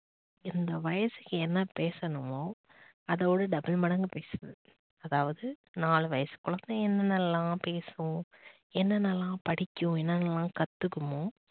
இந்த வயசுக்கு என்ன பேசணுமோ அதோட double மடங்கு பேசுது. அதாவது நாலு வயசு குழந்தை என்னென்னலாம் பேசும், என்னென்ன எல்லாம் படிக்கும், என்னென்னலாம் கத்துக்குமோ